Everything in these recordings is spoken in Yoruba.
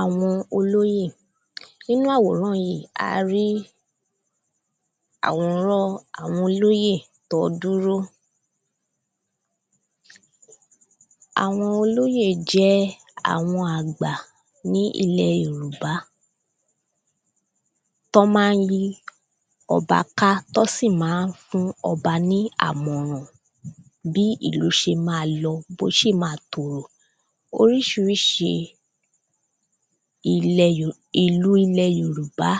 àwọn olóyè nínú àwòrán yí a rí àwòrán àwọn olóyè tọ́ dúró àwọn olóyè jẹ́ àwọn àgbà ní ilẹ̀ yòrùbá tọ́ má ń yí ọba ká tọ́ sì má ń fún ọba ní àmọrán bí ìlú ṣe ma lọ bó ṣe ma tòrò oríṣiriṣi ìlú ilẹ̀ yòrùbá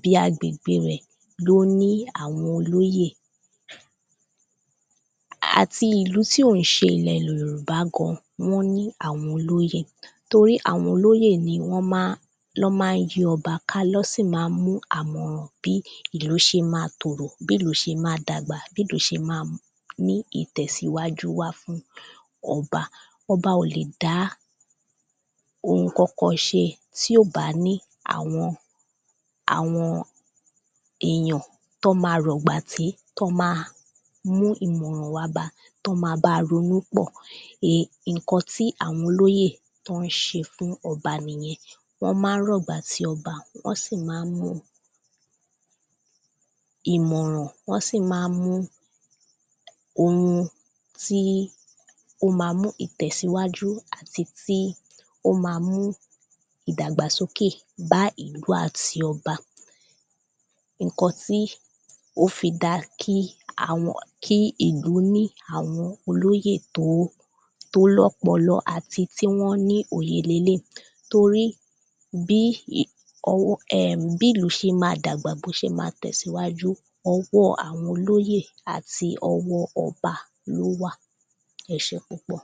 bí agbégbé rẹ̀ ló ní àwọn olóyè àti ìlú tí ò ń ṣe ilẹ̀ yòròbá gan-an wọ́n ní àwọn olóyè torí àwọn olóyè yí wọ́n má lọ́ má ń yí ọba lọ́ sì ma mú àmọ̀ràn bí ìlú ṣe ma tòrò bí ìlú ṣe ma dàgbà bí ìlú ṣe ma ní ìtẹ̀síwájú wá fún ọba ọba ò lè dá ǹkankan ṣe tí ò bá ní àwọn àwọn èyàn tọ́ ma rọ̀gbà tí tọ́ ma mú èrò wá ba tọ́ ma ba ronú pọ̀ iǹkan tí àwọn olóyè ń ṣe fún ọba nìyẹn wọ́n má ń rọ̀gbà tí ọba wọ́n sì má ń mú ìmọ̀ràn wọ́n sì má ń mú ohun tí ó ma mú ìtẹ̀síwájú àti tí ó ma mú ìdàgbàsókè bá ìlú àti ọba iǹkan tí ó fi da kí kí ìlú ní àwọn olóyè tó tó lọ́pọpọlọ àti tí wọ́n ní òye leléí torí bí bí ìlú ṣe ma dàgbà bó ṣe ma tẹ̀síwájú ọwọ́ àwọn olóyè àti ọwọ́ ọba lówà ẹ ṣé púpọ̀